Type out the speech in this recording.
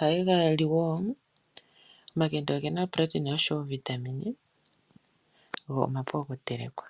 Ohaye ga li wo omakende ogena iitungithilutu go omapu okuteleka.